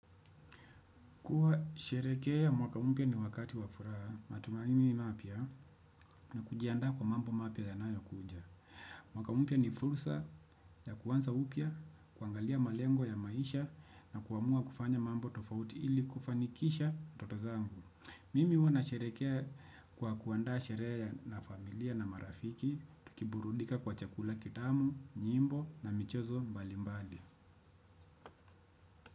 Kukua sherekea mwaka mpya ni wakati wa furaha, matumaini mapya na kujiandaa kwa mambo mapya yanayokuja. Mwaka mpya ni fursa ya kuanza upya, kuangalia malengo ya maisha na kuamua kufanya mambo tofauti ili kufanikisha ndoto zangu. Mimi huwa nasherekea kwa kuandaa sherehe ya na familia na marafiki, tukiburudika kwa chakula kitamu, nyimbo na michezo mbalimbali.